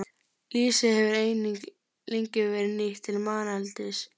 Lýsi hefur einnig lengi verið nýtt til manneldis.